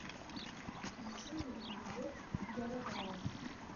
включи мне любовь яровая